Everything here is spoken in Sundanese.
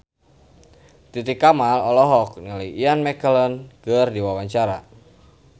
Titi Kamal olohok ningali Ian McKellen keur diwawancara